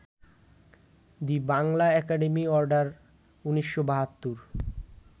the Bangla academy order, ১৯৭২